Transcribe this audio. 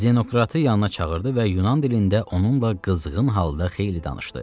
Zenokratı yanına çağırdı və Yunan dilində onunla qızğın halda xeyli danışdı.